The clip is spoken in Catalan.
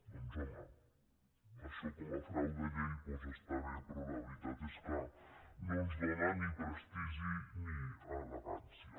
doncs home això com a frau de llei està bé però la veritat és que no ens dóna ni prestigi ni elegància